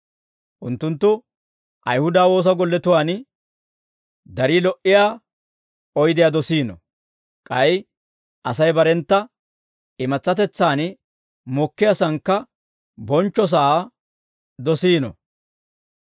Unttunttu Ayihuda woosa golletuwaan darii lo"iyaa oydiyaa dosiino; k'ay Asay barentta imatsatetsaan mokkiyaasankka bonchcho sa'aa dosiino.